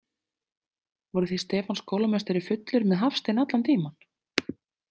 Voruð þið Stefán skólameistari fullir með Hafstein allan tímann?